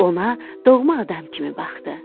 Ona doğma adam kimi baxdı.